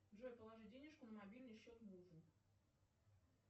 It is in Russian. джой положи денежку на мобильный счет мужу